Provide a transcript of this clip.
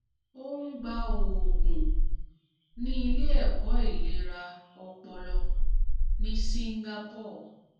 ó ń gba oògùn ní ilé ẹ̀kọ́ ìlera ọpọlọ ní singapore